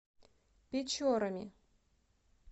печорами